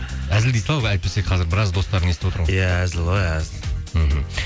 әзіл дей сал әйтпесе қазір біраз достарың естіп отыр ғой иә әзіл ғой әзіл мхм